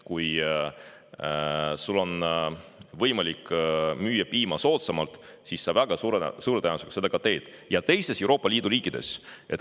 Kui sul on võimalik müüa piima soodsamalt, siis sa väga suure tõenäosusega seda teed.